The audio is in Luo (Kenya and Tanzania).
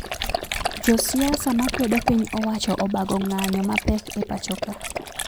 Josiasa makwedo piny owacho obago nga'nyo mapek e pachoka